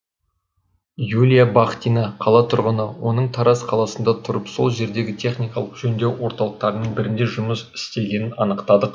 юлия бахтина қала тұрғыны оның тараз қаласында тұрып сол жердегі техникалық жөндеу орталықтарының бірінде жұмыс істегенін анықтадық